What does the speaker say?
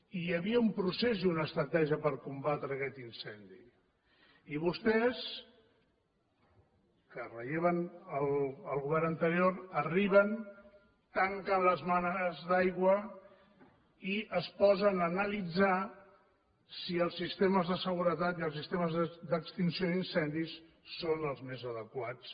i hi havia un procés i una estratègia per combatre aquest incendi i vostès que relleven el govern anterior arriben tanquen les mànegues d’aigua i es posen a analitzar si els sistemes de seguretat i els sistemes d’extinció d’incendis són els més adequats